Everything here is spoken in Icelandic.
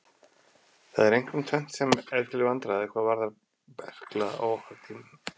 Það er einkum tvennt sem er til vandræða hvað varðar berkla á okkar tímum.